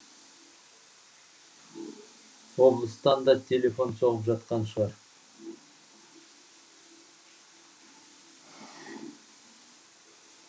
облыстан да телефон соғып жатқан шығар